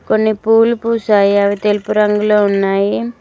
కొన్ని పూలు పూసాయి అవి తెలుపు రంగులొ ఉన్నాయి.